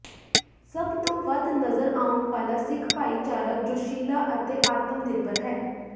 ਸਭ ਤੋਂ ਵੱਧ ਨਜ਼ਰ ਆਉਣ ਵਾਲਾ ਸਿੱਖ ਭਾਈਚਾਰਾ ਜੋਸ਼ੀਲਾ ਅਤੇ ਆਤਮ ਨਿਰਭਰ ਹੈ